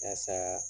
Yasa